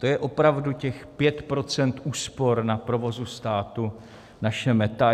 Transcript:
To je opravdu těch 5 % úspor na provozu státu naše meta?